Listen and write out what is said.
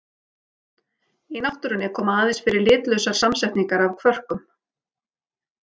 Í náttúrunni koma aðeins fyrir litlausar samsetningar af kvörkum.